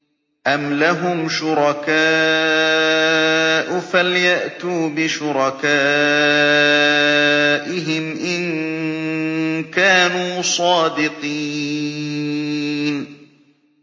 أَمْ لَهُمْ شُرَكَاءُ فَلْيَأْتُوا بِشُرَكَائِهِمْ إِن كَانُوا صَادِقِينَ